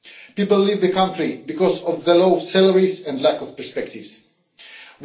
People leave the country because of the low salaries and lack of prospects there.